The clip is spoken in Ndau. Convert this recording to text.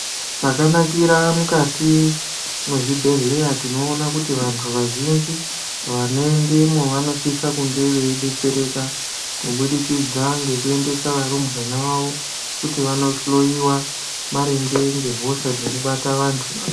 Chakanakira mukati mezvibhehlera tinozviona kuti vantu vazhinji vanoendemwo vanosise kunge veidetsereka kubidikidza nekuendesa varumwana vavo kuti vanohloyiwa maringe ngehosha dzinobate vantu.